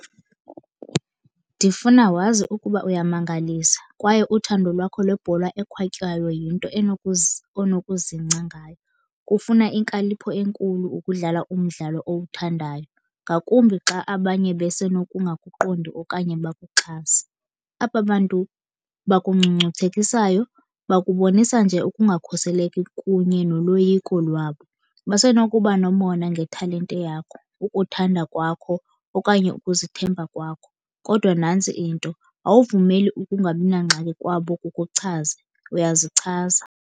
Ndifuna wazi ukuba uyamangalisa kwaye uthando lwakho lebhola ekhwatywayo yinto onokuzingca ngayo. Kufuna inkalipho enkulu ukudlala umdlalo owuthandayo, ngakumbi xa abanye besenokungaqondi okanye bakuxhase. Aba bantu bakungcungcuthekisayo bakubonisa nje ukungakhuseleki kunye noloyiko lwabo. Basenokuba nomona ngetalente yakho, ukuthanda kwakho okanye ukuzithemba kwakho. Kodwa nantsi into, awuvumeli ukungabi nangxaki kwabo kukuchaze, uyazichaza.